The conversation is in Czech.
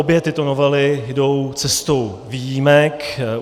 Obě tyto novely jdou cestou výjimek.